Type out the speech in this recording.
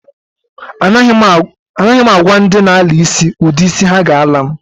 A naghi m agwa ndi na-ala isi udi isi ha ga-ala m.